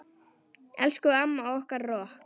Elsku amma okkar rokk.